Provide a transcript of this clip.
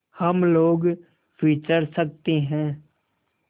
हम लोग विचर सकते हैं